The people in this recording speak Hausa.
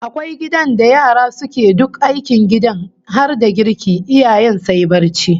Akwai gidan da yara suke duk aikin gidan har da girki, iyayen sai barci